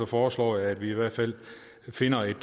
foreslår jeg at vi i hvert fald finder et